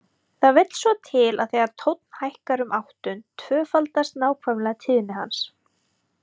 Það vill svo til að þegar tónn hækkar um áttund tvöfaldast nákvæmlega tíðni hans.